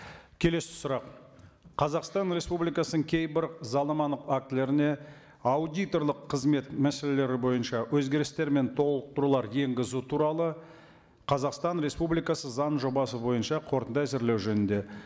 келесі сұрақ қазақстан республикасының кейбір заңнамалық актілеріне аудиторлық қызмет мәселелері бойынша өзгерістер мен толықтырулар енгізу туралы қазақстан республикасы заңының жобасы бойынша қорытынды әзірлеу жөнінде